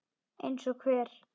Eins og hver?